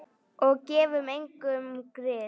Og gefum engum grið.